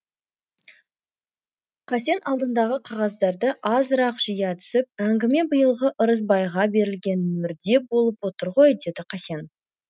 қасен алдындағы қағаздарды азырақ жия түсіп әңгіме биылғы ырысбайға берілген мөрде болып отыр ғой деді қасен